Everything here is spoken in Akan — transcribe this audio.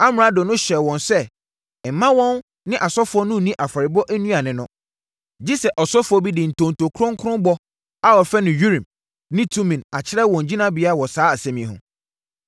Na amrado no hyɛɛ wɔn sɛ mma wɔn ne asɔfoɔ no nni afɔrebɔ nnuane no, gye sɛ ɔsɔfoɔ bi de ntonto kronkron bɔ a wɔfrɛ no Urim ne Tumim akyerɛ wɔn gyinabea wɔ saa asɛm yi ho.